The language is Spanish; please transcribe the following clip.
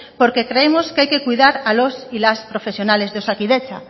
porque creemos que hay que cuidar a los y las profesionales de osakidetza